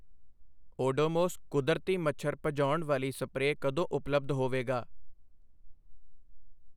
ਓਡੋਮੋਸ ਕੁਦਰਤੀ ਮੱਛਰ ਭਜਾਉਣ ਵਾਲੀ ਸਪਰੇਅ ਕਦੋਂ ਉਪਲੱਬਧ ਹੋਵੇਗਾ?